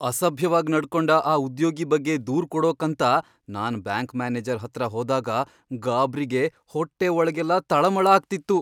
ಅಸಭ್ಯವಾಗ್ ನಡ್ಕೊಂಡ ಆ ಉದ್ಯೋಗಿ ಬಗ್ಗೆ ದೂರು ಕೊಡೋಕಂತ ನಾನ್ ಬ್ಯಾಂಕ್ ಮ್ಯಾನೇಜರ್ ಹತ್ರ ಹೋದಾಗ ಗಾಬ್ರಿಗೆ ಹೊಟ್ಟೆ ಒಳಗೆಲ್ಲ ತಳಮಳ ಆಗ್ತಿತ್ತು.